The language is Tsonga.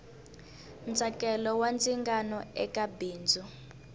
ntsakelo wa ndzingano eka bindzu